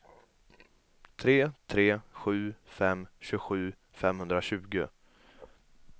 tre tre sju fem tjugosju femhundratjugo